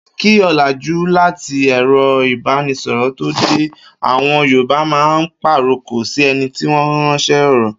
Kí ò̩làjú àti è̩ro̩ ìbánisò̩rò̩ tó dé, àwo̩n Yorùbá a máa pàrokò sí e̩ni tí wó̩n ráns̩é̩ ò̩rò̩